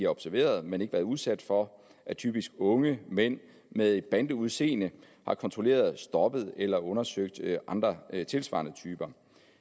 observeret men ikke været udsat for at typisk unge mænd med et bandeudseende har kontrolleret stoppet eller undersøgt andre tilsvarende typer